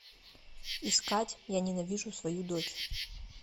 искать я ненавижу свою дочь